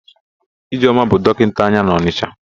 Ijeọma bụ dọkịnta anya n'Ọnịsha.